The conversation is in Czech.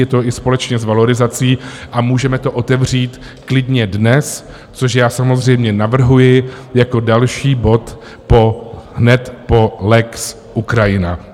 Je to i společně s valorizací a můžeme to otevřít klidně dnes, což já samozřejmě navrhuji, jako další bod hned po lex Ukrajina.